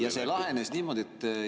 Ja see lahenes niimoodi, et …